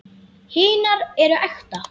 Hinar eru ekta.